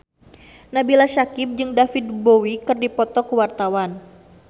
Nabila Syakieb jeung David Bowie keur dipoto ku wartawan